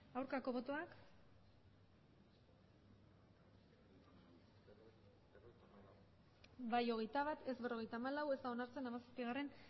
aurkako botoak emandako botoak hirurogeita hamabost bai hogeita bat ez berrogeita hamalau ez da onartzen hamazazpigarrena